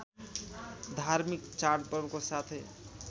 धार्मिक चाडपर्वको साथै